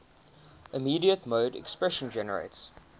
immediate mode expression generates